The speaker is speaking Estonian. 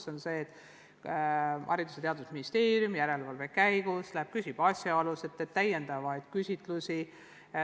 See tähendab, et Haridus- ja Teadusministeerium uurib järelevalve käigus asjaolusid, teeb täiendavaid küsitlusi.